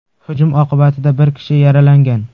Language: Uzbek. Hujum oqibatida bir kishi yaralangan.